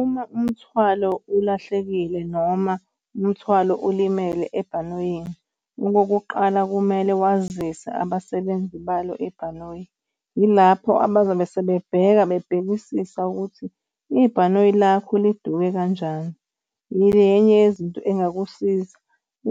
Uma umthwalo ulahlekile noma umthwalo ulimele ebhanoyini, okokuqala kumele wazise abasebenzi balo ibhanoyi. Yilapho abazobe sebebheka bebhekisisa ukuthi ibhanoyi lakho liduke kanjani, iyenye yezinto engakusiza.